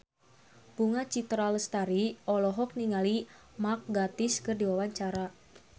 Bunga Citra Lestari olohok ningali Mark Gatiss keur diwawancara